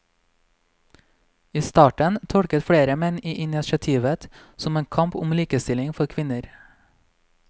I starten tolket flere menn initiativet som en kamp om likestilling for kvinner.